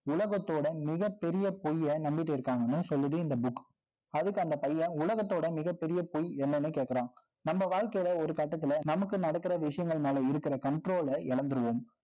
உலகத்தோட, மிகப் பெரிய பொய்யை, நம்பிட்டு இருக்காங்கன்னும் சொல்லுது, இந்த book அதுக்கு அந்த பையன், உலகத்தோட மிகப் பெரிய பொய், என்னன்னு கேக்கறான். நம்ம வாழ்க்கையில, ஒரு கட்டத்துல, நமக்கு நடக்கிற விஷயங்கள் மேல இருக்கிற, control அ இழந்திருவோம்